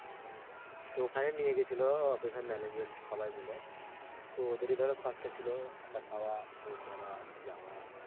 তো ওখানে নিয়ে গেছিলো office এর management সবাই মিলে তো ওদেরই ধরো খরচ ছিল থাকা খাওয়া, room ভাড়া, যাওয়া.